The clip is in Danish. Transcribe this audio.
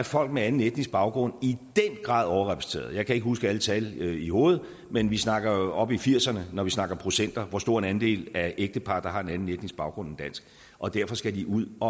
folk med anden etnisk baggrund i den grad er overrepræsenteret jeg kan ikke huske alle tal i hovedet men vi snakker jo tal oppe i firserne når vi snakker procenter hvor stor en andel af ægteparrene der har en anden etnisk baggrund end dansk og derfor skal de ud at